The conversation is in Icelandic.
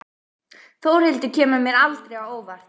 Þórhildur kemur mér aldrei á óvart.